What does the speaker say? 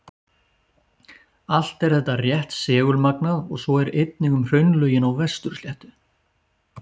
Allt er þetta rétt segulmagnað og svo er einnig um hraunlögin á Vestur-Sléttu.